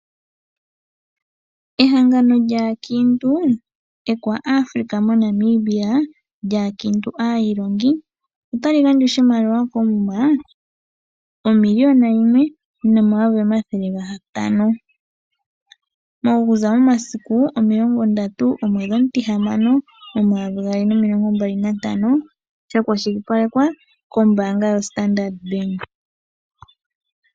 Ehangano lyaakiintu ekwaAfrika moNamibia lyaakiintu aailongi ota li gandja oshimaliwa koomuma, omiliyona yimwe nomayovi omathele gatano, okuza momasiku omilongo ndatu gomwedhi omutihamano, omayovi gaali nomilongo mbali nantano, lya kwashilipalekwa kombaanga yoStandard Bank.